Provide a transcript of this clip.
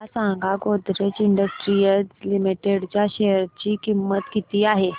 मला सांगा Godrej industries limited च्या शेअर ची किंमत किती आहे